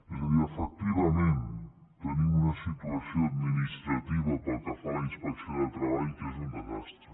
és a dir efectivament tenim una situació administrativa pel que fa a la inspecció de treball que és un desastre